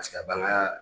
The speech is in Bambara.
Paseke a bange